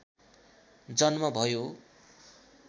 जन्म भयो